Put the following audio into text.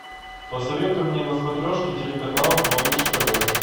посоветуй мне на смотрешке телеканал малыш тв